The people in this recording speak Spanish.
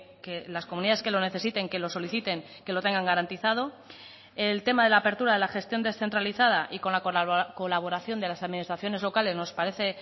que las comunidades que lo necesiten que lo soliciten que lo tengan garantizado el tema de la apertura de la gestión descentralizada y con la colaboración de las administraciones locales nos parece